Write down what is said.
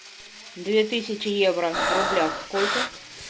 две тысячи евро в рублях сколько